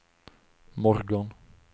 morgon